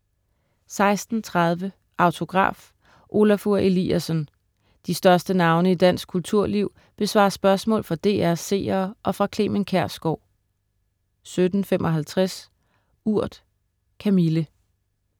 16.30 Autograf: Olafur Eliasson. De største navne i dansk kulturliv besvarer spørgsmål fra DR's seere og fra Clement Kjersgaard 17.55 Urt. Kamille